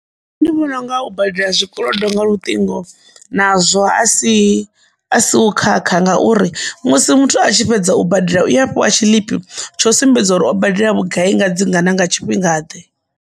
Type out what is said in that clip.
Nṋe ndi vhona unga u badela zwikolodo nga luṱingo nazwo a si a si u khakha ngauri musi muthu a tshi fhedza u badela u a fhiwa tshiḽipi tsho sumbedza uri o badela vhugai nga dzingana nga tshifhinga ḓe.